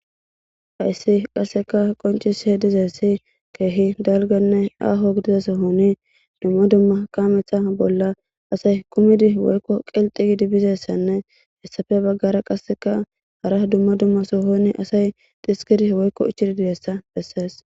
Hayssi qasseka qoncis he dizessi keehi dalganne aaho gidizes honi dumma dumma kaametha bolla asay kumidi woykko qelxi gidi bizessanne hessafe baggara qasseka hara dumma dumma sohoni asay dhiskidi woykko ichididiyessa bessees.